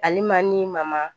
Alima ni Mama